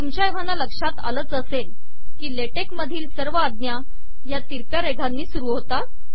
तुमच्या एव्हाना लक्षात आलेच असेल की सर्व ला टेक आज्ञा या तिरक्या रेघेनी सुरू होतात